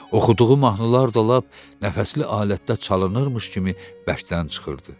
Oxuduğu mahnılar da lap nəfəsli alətdə çalınırmış kimi bərkdən çıxırdı.